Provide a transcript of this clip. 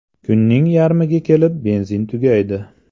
Kunning yarmiga kelib benzin tugaydi.